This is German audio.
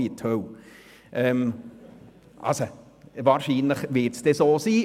() Also wird es dann wahrscheinlich so sein.